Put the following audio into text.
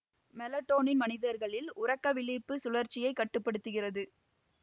melatonin மனிதர்களில் உறக்கவிழிப்பு சுழற்சியைக் கட்டு படுத்துகிறது